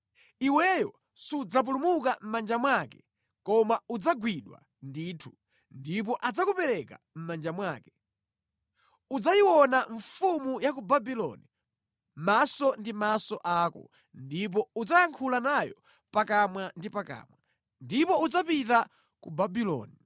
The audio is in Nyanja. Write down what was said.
Iweyo sudzapulumuka mʼmanja mwake koma udzagwidwa ndithu ndipo adzakupereka mʼmanja mwake. Udzayiona mfumu ya ku Babuloni maso ndi maso ako ndipo udzayankhula nayo pakamwa ndi pakamwa. Ndipo udzapita ku Babuloni.